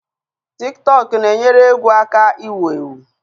Tik tọk na-enyere egwu aka iwu-ewu